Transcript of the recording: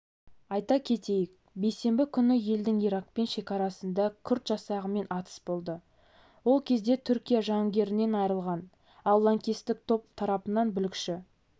айта кетейік бейсенбі күні елдің иракпен шекарасында күрд жасағымен атыс болды ол кезде түркия жауынгерінен айырылған ал лаңкестік топ тарапынан бүлікші